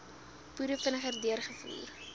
boere vinniger deurgevoer